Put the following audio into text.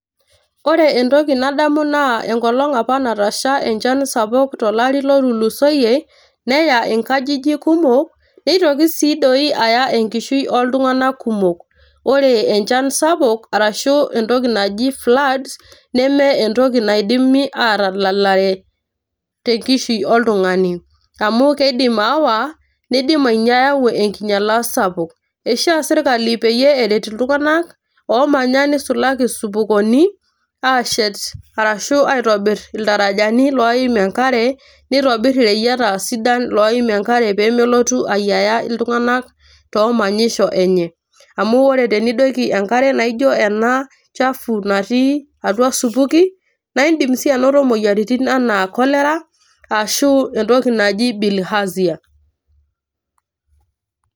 Ore entoki nadamu naa enkolong apa natasha enchan sapuk tolari lotulusoyie ,neya inkajijik kumok nitoki sii doi aaya enkishui oltunganak kumok . ore enchan sapuk arashu entoki naji floods neme entoki nidim atadalare tenkishui oltungani amu kidim aawa nindim ayau enkinyiala sapuk . eishiia sirkali peyie eret iltunganak omanya nisulaki isupukoni ashet arashu aitobiraki iltarajani loim enkare ,nitobir ireyieta sidan loim enkare pemelotu ayiaya iltunganak toomanyisho enye amu tenidoiki enkare naijo ena chafua natii atua a supuki naa idim si anoto moyiaritin anaa cholera arashu entoki naji bilhazia.